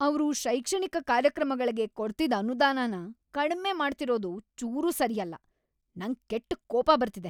ಅವ್ರು ಶೈಕ್ಷಣಿಕ ಕಾರ್ಯಕ್ರಮಗಳ್ಗೆ ಕೊಡ್ತಿದ್‌ ಅನುದಾನನ ಕಡ್ಮೆ ಮಾಡ್ತಿರೋದು ಚೂರೂ ಸರಿಯಲ್ಲ, ನಂಗ್‌ ಕೆಟ್ಟ್‌ ಕೋಪ ಬರ್ತಿದೆ.